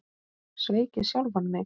Sveik ég sjálfan mig?